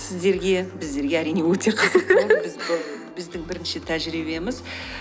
сіздерге біздерге әрине өте қызықты біздің бірінші тәжірибеміз